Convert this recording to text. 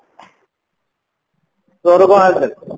ତୋର କଣ ହାଲ ଚାଲ